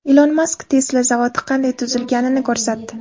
Ilon Mask Tesla zavodi qanday tuzilganini ko‘rsatdi .